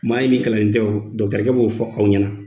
M'a ɲini kalannen tɛ o, dɔgɔtɔɔrɔkɛ b'o fɔ aw ɲɛna.